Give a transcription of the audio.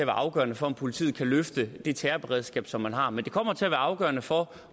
afgørende for om politiet kan løfte det terrorberedskab som man har men det kommer til at være afgørende for